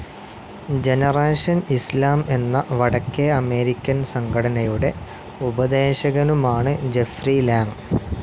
Generation Islam എന്ന വടക്കേ American സംഘടനയുടെ ഉപദേശകനുമാണ് ജഫ്രി ലാങ്.